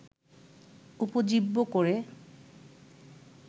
উপজীব্য করে